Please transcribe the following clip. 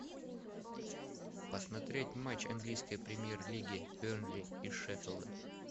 посмотреть матч английской премьер лиги бернли и шеффилда